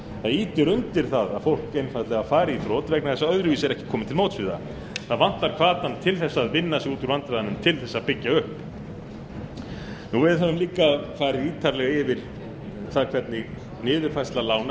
ýtir undir það að fólk einfaldlega fari í þrot vegna þess að öðruvísi er ekki komið til móts við það það vantar hvatann til að vinna sig út úr vandræðunum til að byggja upp við höfum líka farið ítarlega yfir það hvernig niðurfærsla lána